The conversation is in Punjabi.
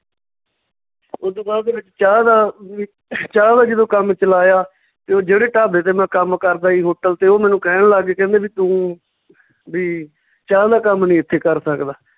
ਓਦੂ ਬਾਅਦ ਦੇ ਵਿੱਚ ਚਾਹ ਦਾ ਵੀ ਚਾਹ ਦਾ ਜਦੋਂ ਕੰਮ ਚਲਾਇਆ ਤੇ ਜਿਹੜੇ ਢਾਬੇ ਤੇ ਮੈਂ ਕੰਮ ਕਰਦਾ ਸੀ hotel ਤੇ ਉਹ ਮੈਨੂੰ ਕਹਿਣ ਲੱਗ ਗਏ ਕਹਿੰਦੇ ਵੀ ਤੂੰ ਵੀ ਚਾਹ ਦਾ ਕੰਮ ਨੀ ਏਥੇ ਕਰ ਸਕਦਾ